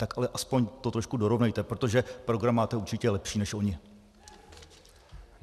Tak ale aspoň to trošku dorovnejte, protože program máte určitě lepší než oni.